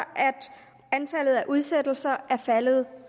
antallet af udsættelser er faldet